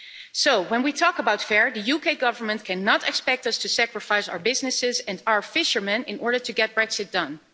So, when we talk about fair, the UK Government cannot expect us to sacrifice our businesses and our fishermen in order to get Brexit done.